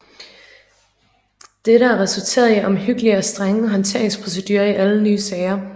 Dette har resulteret i omhyggelige og strenge håndteringsprocedurer i alle nye sager